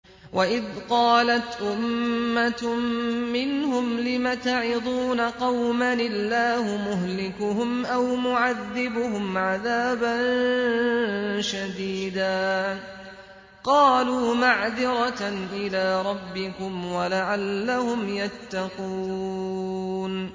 وَإِذْ قَالَتْ أُمَّةٌ مِّنْهُمْ لِمَ تَعِظُونَ قَوْمًا ۙ اللَّهُ مُهْلِكُهُمْ أَوْ مُعَذِّبُهُمْ عَذَابًا شَدِيدًا ۖ قَالُوا مَعْذِرَةً إِلَىٰ رَبِّكُمْ وَلَعَلَّهُمْ يَتَّقُونَ